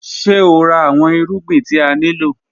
Ṣe o ra awọn irugbin ti a nilo?